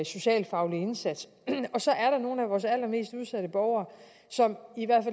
socialfaglig indsats og så er der nogle af vores allermest udsatte borgere som i hvert